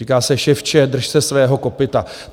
Říká se, ševče, drž se svého kopyta.